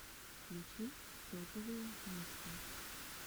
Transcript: включи топовые миксы